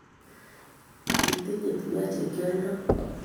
Kitinye tuga chekioldoi